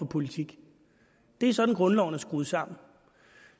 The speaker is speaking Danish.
politikker det er sådan grundloven er skruet sammen